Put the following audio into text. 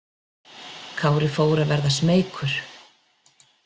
Kári fór að verða smeykur.